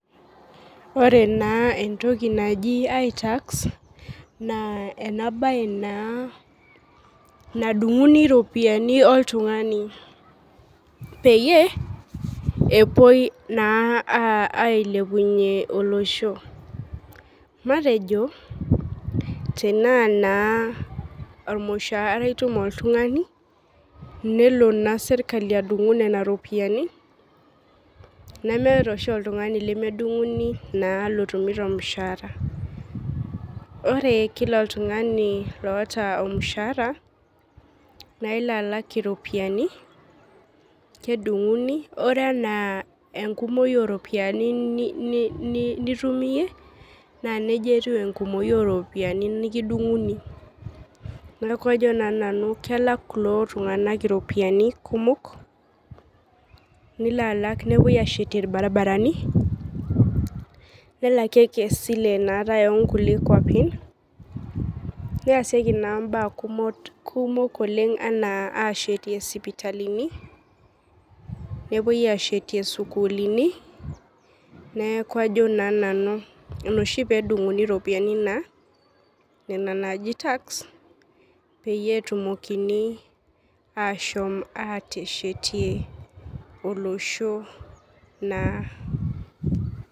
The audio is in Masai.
Ore na entoki naji itax na enabae na nadunguni ropiyani oltungani peyie apuoi na ailepunye olosho matejo tanaa ormushaara etum oltungani nelo na serkali adungoo nona ropiyani nemeta oshi oltungani lemedunguni oota ormushaara ore pooki tungani oota ormushaara nailo alak iropiyiani kedunguni ore ana enkumoi oropiyiani nitum iyie na nejia etou enkumoi oropiyiani nikidunguni neaku kajo nanu kelak kulo tunganak iropiyiani kumok nilo alak nepuoi ashetie irbaribarani nelakieki esile nikiata onkulie kwapi neasieki na mbaa kumok ana ashetie sipitalini nepuoi ashetie sukulini neaku ajo nanu inaoshi pedunguni ropiyani peyie etumokini ashom ateshetie olosho naa.